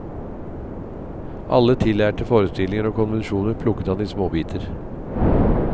Alle tillærte forestillinger og konvensjoner plukket han i småbiter.